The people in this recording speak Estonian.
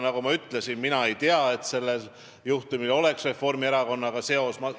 Nagu ma ütlesin, mina ei tea, et sellel juhtumil oleks Reformierakonnaga seost.